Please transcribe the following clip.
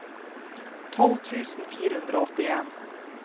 tolv tusen fire hundre og åttien